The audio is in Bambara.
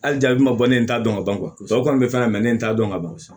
Hali jabi ma bɔ ne t'a dɔn ka ban o kɔni bɛ fɛn mɛ ne t'a dɔn ka ban